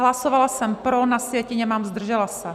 Hlasovala jsem pro, na sjetině mám zdržela se.